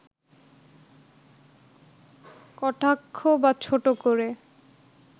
কটাক্ষ বা ছোট করে